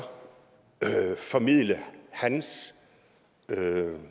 formidle hans